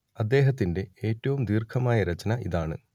അദ്ദേഹത്തിന്റെ ഏറ്റവും ദീർഘമായ രചന ഇതാണ്